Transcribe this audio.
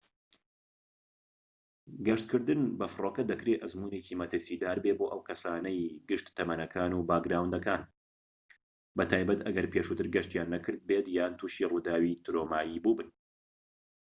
گەشتکردن بە فڕۆکە دەکرێت ئەزموونێکی مەترسیدار بێت بۆ کەسانی گشت تەمەنەكان و باکگراوندەکان بە تایبەتی ئەگەر پێشووتر گەشتیان نەکرد بێت یان تووشی ڕووداوی ترۆمایی بوو بن